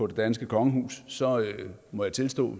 danske kongehus så må jeg tilstå